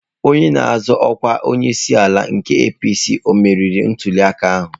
Onye na-azọ ọkwa onyeisiala nke APC ọ meriri ntuliaka ahụ.